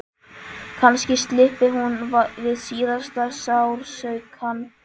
Kannski slyppi hún við síðasta sársaukann.